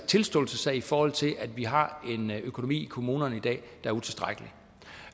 tilståelsessag i forhold til at vi har en økonomi i kommunerne i dag